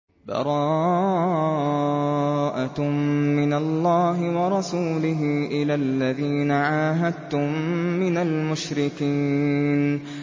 بَرَاءَةٌ مِّنَ اللَّهِ وَرَسُولِهِ إِلَى الَّذِينَ عَاهَدتُّم مِّنَ الْمُشْرِكِينَ